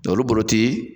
olu bolo ti